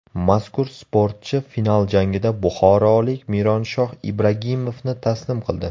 Mazkur sportchi final jangida buxorolik Mironshoh Ibragimovni taslim qildi.